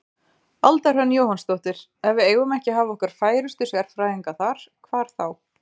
Alda Hrönn Jóhannsdóttir: Ef við eigum ekki að hafa okkar færustu sérfræðinga þar, hvar þá?